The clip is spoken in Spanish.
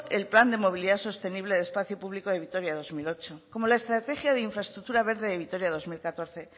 el plan de movilidad sostenible de espacio público de vitoria dos mil ocho como la estrategia de infraestructura verde de vitoria de dos mil catorce